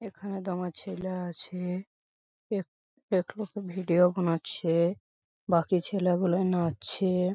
এখানে দমা ছেলা আছে-এ । এক-এক লোকে ভিডিও বানাচ্ছে-এ বাকি ছেলা গুলায় নাচছে-এ ।